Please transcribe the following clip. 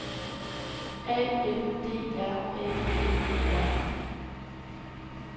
A N D R A G E R